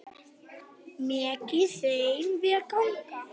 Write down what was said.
Megi þeim vel ganga.